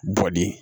Bɔ di